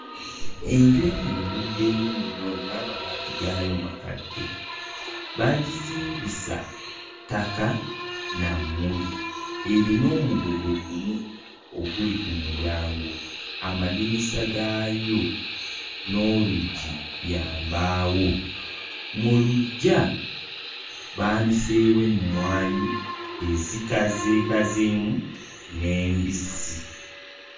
Enju eno eruddewo nnyo n'amabaati gaayo makadde. Baagizimbisa ttaka na mmuli, erina omugogo gumu oguli ku mulyango, amadinisa gaayo n'oluggi bya mbaawo, mu luggya baaniseewo emmwanyi ezikazeekazeemu n'embisi.